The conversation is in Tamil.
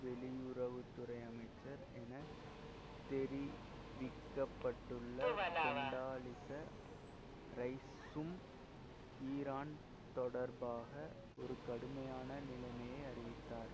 வெளியுறவு துறை அமைச்சர் என தெரிவிக்க பட்டுள்ள கொண்டாலிச ரைஸ்சும் ஈரான் தொடர்பாக ஒரு கடுமையான நிலையை அறிவித்தார்